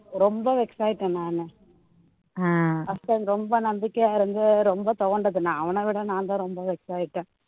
ரொம்ப vex ஆகிட்டேன் நானு அப்போ ரொம்ப நம்பிக்கையா இருந்து அஹ் ரொம்ப துவண்டது நான் அவனை விட நான் தான் ரொம்ப vex ஆகிட்டேன்